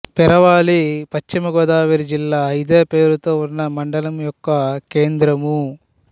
పెరవలి పశ్చిమ గోదావరి జిల్లా ఇదే పేరుతో ఉన్న మండలం యొక్క కేంద్రము